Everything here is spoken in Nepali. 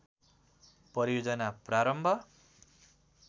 परियोजना प्रारम्भ